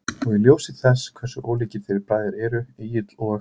Og í ljósi þess hversu ólíkir þeir bræður eru, Egill og